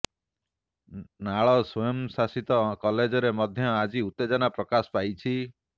ନାଳ ସ୍ୱୟଂଶାସିତ କଲେଜରେ ମଧ୍ୟ ଆଜି ଉତ୍ତେଜନା ପ୍ରକାଶ ପାଇଛି